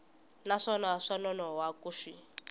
naswona swa nonoha ku xi